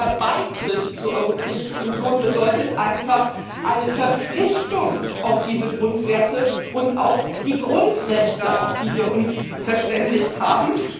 Denn der Beitritt zur Europäischen Union bedeutet einfach eine Verpflichtung auf diese Grundwerte und auf die Grundrechte, auf die wir uns verständigt haben.